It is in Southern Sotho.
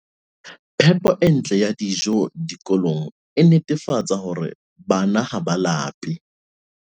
Phepo e ntle ya dijo dikolong e netefatsa hore bana ha ba lape